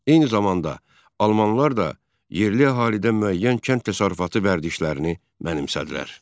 Eyni zamanda, almanlar da yerli əhalidən müəyyən kənd təsərrüfatı vərdişlərini mənimsədilər.